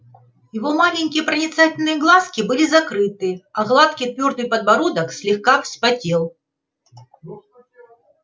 его маленькие проницательные глазки были закрыты а гладкий твёрдый подбородок слегка вспотел